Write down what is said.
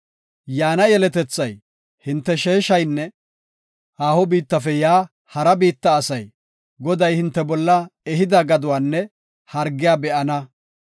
Yaana yeletethay, hinte sheeshaynne haaho biittafe yaa hara biitta asay, Goday hinte bolla ehida gaduwanne hargiya be7ana.